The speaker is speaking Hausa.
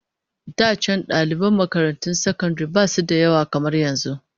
Da can daliban makarantun sakandare basu da yawa kamar yanzu